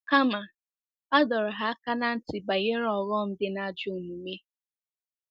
Kama, a dọrọ ha aka ná ntị banyere ọghọm dị na ajọ omume.